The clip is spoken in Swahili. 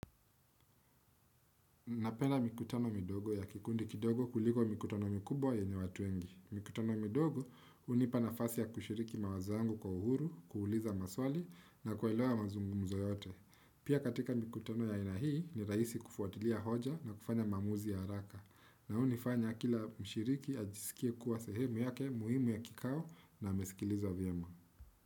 Napenda mikutano midogo ya kikundi kidogo kuliko mikutano mikubwa yenye watu wengi. Mikutano midogo hunipa nafasi ya kushiriki mawazo yangu kwa uhuru, kuuliza maswali na kuelewa mazungumzo yote. Pia katika mikutano ya aina hii ni rahisi kufuatilia hoja na kufanya maamuzi ya haraka. Na unifanya kila mshiriki ajisikie kuwa sehemu yake muhimu ya kikao na amesikilizwa viema.